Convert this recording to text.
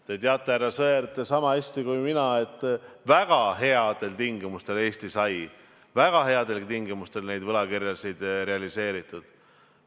Te teate, härra Sõerd, niisama hästi kui mina, et väga headel tingimustel sai Eesti neid võlakirju realiseerida.